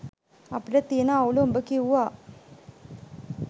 අපිට තියන අවුල උඹ කිව්වා